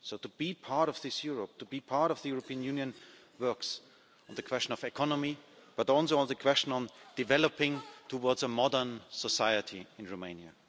So to be part of this Europe, to be part of the European Union, works on the question of the economy, but also on the question of developing towards a modern society in Romania.